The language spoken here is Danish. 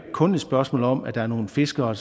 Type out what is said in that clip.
kun et spørgsmål om at der er nogle fiskere